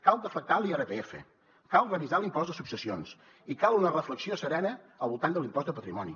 cal deflactar l’irpf cal revisar l’impost de successions i cal una reflexió serena al voltant de l’impost de patrimoni